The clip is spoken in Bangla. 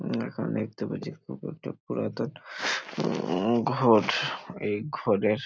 উম এখন দেখতে পাচ্ছি পুকুরটা পুরাতন উম ঘর এই ঘরের --